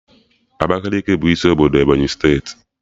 Abakaliki bụ isi obodo Ebonyi steeti